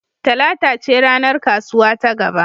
Talata ce ranar kasuwa ta gaba.